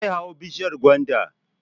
Zai hau bishiyar gwanda